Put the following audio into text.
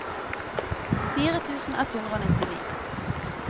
fire tusen ett hundre og nittini